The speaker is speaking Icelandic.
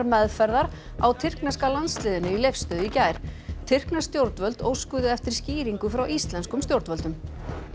meðferðar á tyrkneska landsliðinu í Leifsstöð í gær tyrknesk stjórnvöld óskuðu eftir skýringu frá íslenskum stjórnvöldum